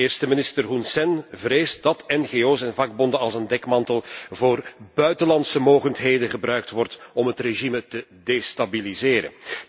Eerste minister Hun Sen vreest dat ngo's en vakbonden als een dekmantel voor buitenlandse mogendheden gebruikt worden om het regime te destabiliseren.